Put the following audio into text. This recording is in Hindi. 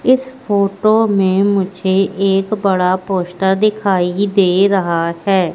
इस फोटो में मुझे एक बड़ा पोस्टर दिखाई दे रहा है।